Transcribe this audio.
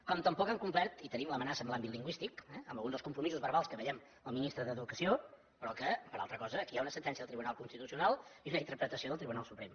com tampoc han complert i tenim l’amenaça en l’àmbit lingüístic eh amb alguns dels compromisos verbals que veiem el ministre d’educació però que per altra cosa aquí hi ha una sentència del tribunal constitucional i una interpretació del tribunal suprem